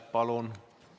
Palun!